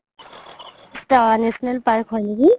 national park হয় নেকি